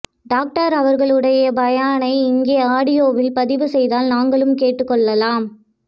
doctor அவர்களுடைய பயானை இங்கே ஆடியோ வில் பதிவுசெய்தால் நாங்களும் கேட்டு கொள்ளலாம்